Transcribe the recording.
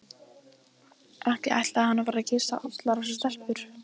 Ekki ætlaði hann að fara að kyssa allar þessar stelpur.